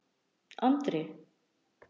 Andri